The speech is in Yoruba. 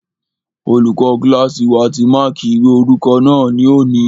Olùkọ́ kílásì wa ti máàkí ìwé orúkọ náà ní òní